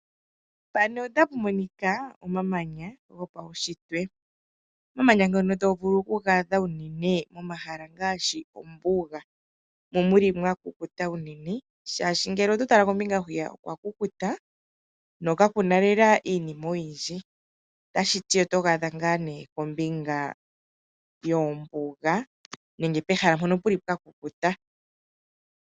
Omamanya gopaunshitwe. Omamanya ngoka to vulu oku adha unene komahala ngaashi mombuga moka mu li mwa kukuta unene, nohaga adhika unene mpoka pwa kukuta po kapu na lela iinima oyindji. Otoga adha ngaa kombinga yombuga nenge kehala hono ku li kwa kukuta.